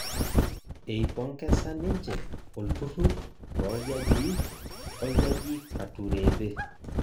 eipongesa ninje olturur loljajii oljaji Katureebe